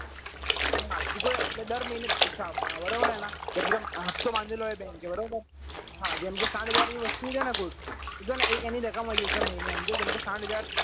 હા એટલે ટુકડે એટલે દર જ મહિને પૈસા આપવાના બરાબર એના હપ્તો બાંધેલો હોય bank એ બરોબર હા જેમ કે સાત હજાર ની વસ્તુ છે ને કુલ એટલે એક એની રકમ હોય મહિને જેમ કે સાત હાજર